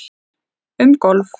Um golf